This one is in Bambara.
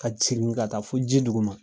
Ka cɛni ka taa fɔ ji dugu ma.